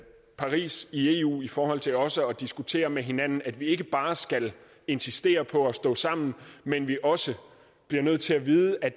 paris i eu i forhold til også at diskutere med hinanden at vi ikke bare skal insistere på at stå sammen men at vi også bliver nødt til at vide at